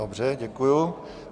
Dobře, děkuji.